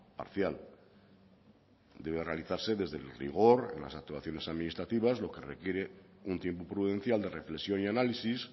parcial debe realizarse desde el rigor en las actuaciones administrativas lo que requiere un tiempo prudencial de reflexión y análisis